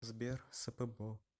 сбер спбо